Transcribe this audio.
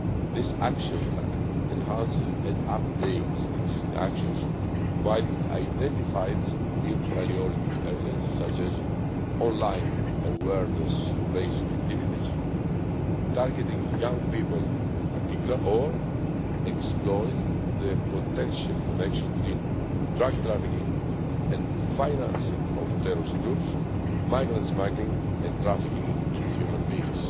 This action plan enhances and updates existing actions, while it also identifies new priority areas such as online awareness raising activities, targeting young people in particular, and exploring the potential connection between drug trafficking and the financing of terrorist groups, migrant smuggling and trafficking in human beings.